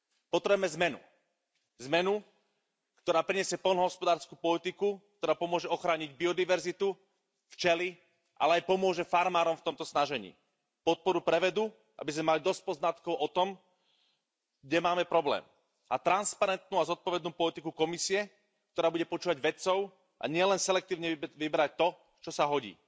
Potrebujeme zmenu, zmenu, ktorá prinesie poľnohospodársku politiku, ktorá pomôže ochrániť biodiverzitu, včely, ale aj pomôže farmárom v tomto snažení, podporu pre vedu, aby sme mali dosť poznatkov o tom, kde máme problém, a transparentnú a zodpovednú politiku Komisie, ktorá bude počúvať vedcov a nie len selektívne vybrať to, čo sa hodí.